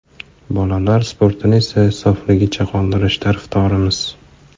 Bolalar sportini esa sofligicha qoldirish tarafdorimiz.